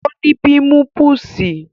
Ọ́ ní pímipùsì